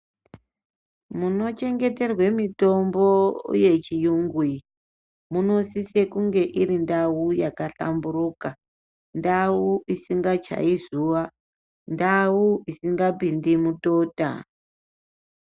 Munochengeterwe mitombo yechiyungu iyi munosisonge mune ndau yakanhlamburoka ndau isingachai zuwa isingapindi mutota